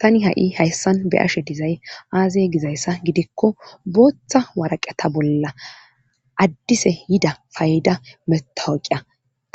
tani ha7i hayssan be ashe dizay aazay gizayssa gidikko booththa waraqeta bolla addise yida fayda metawoqiya